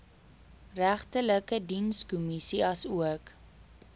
regterlike dienskommissie asook